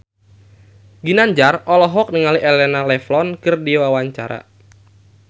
Ginanjar olohok ningali Elena Levon keur diwawancara